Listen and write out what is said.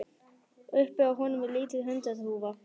Uppi á honum er lítil hundaþúfa.